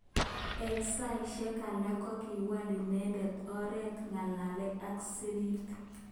Eng saishek alak kokiwalminendet oret ngalalet ak sirik.